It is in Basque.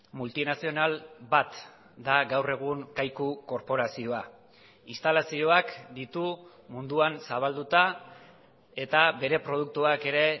multinazional bat da gaur egun kaiku korporazioa instalazioak ditu munduan zabalduta eta bere produktuak ere